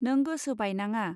नों गोसो बायनाङा.